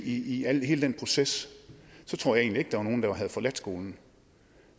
i hele den proces så tror jeg egentlig ikke der var nogen der havde forladt skolen